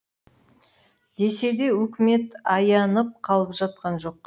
десе де үкімет аянып қалып жатқан жоқ